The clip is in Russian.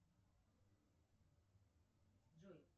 джой